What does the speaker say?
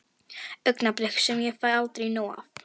Augnablik sem ég fæ aldrei nóg af.